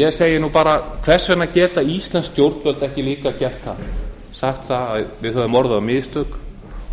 ég segi nú bara hvers vegna geta íslensk stjórnvöld ekki líka gert það sagt okkur hafa orðið á mistök